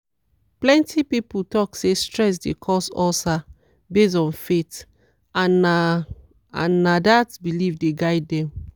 plenty people talk say stress dey cause ulcer based on faith and na and na dat belief dey guide them.